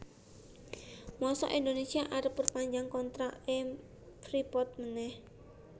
mosok Indonesia arep perpanjang kontrak e Freeport maneh